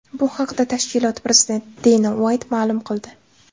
Bu haqda tashkilot prezidenti Deyna Uayt ma’lum qildi .